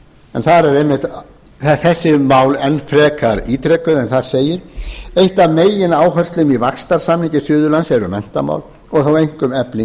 suðurlandi þar eru þessi mál enn frekar ítrekuð en þar segir eitt af megináherslumálum í vaxtarsamningi suðurlands eru menntamál og þá einkum efling